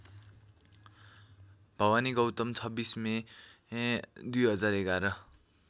Bhawani Gautam २६ May २०११